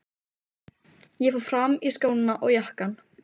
Ég fór fram og í skóna og jakkann.